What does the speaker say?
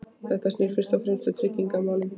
Þetta snýr fyrst og fremst að tryggingamálum.